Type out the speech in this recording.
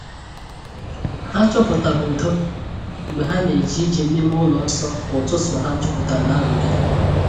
Ha chọpụtara udo mgbe ha na-eje ije n’ime ụlọ nsọ ka ụtụtụ ha juputara n’ nrụgide.